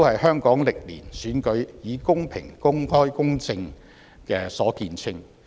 香港歷年的選舉亦以公平、公開、公正見稱。